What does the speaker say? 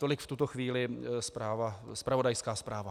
Tolik v tuto chvíli zpravodajská zpráva.